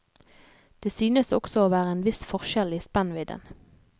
Det synes også å være en viss forskjell i spennvidden.